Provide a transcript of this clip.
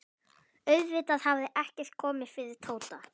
Auðvitað hafði ekkert komið fyrir Tóta.